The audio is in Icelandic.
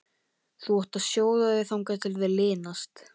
Þú átt að sjóða þau þangað til þau linast.